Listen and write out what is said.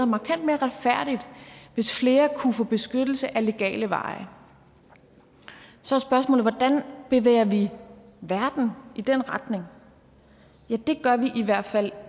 markant mere retfærdigt hvis flere kunne få beskyttelse ad legale veje så er spørgsmålet hvordan bevæger vi verden i den retning ja det gør vi i hvert fald